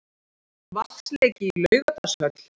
Vatnsleki í Laugardalshöll